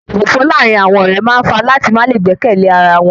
Òfófó láàrin àwọn ọ̀rẹ́ máa ń fa láti má le gbẹ́kẹ̀lẹ́ ara wọn